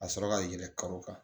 Ka sɔrɔ ka yɛlɛn kalo kan